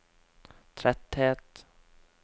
tretthet